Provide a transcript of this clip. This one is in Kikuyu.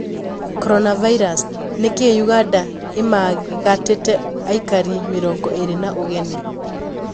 Coronavirus: Niki Uganda imaigatite aikari mĩrongo ĩrĩ na ũgeni?